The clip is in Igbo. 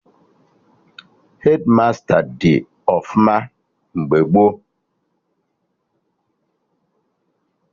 Hedmasta dị ọfụma mgbe gboo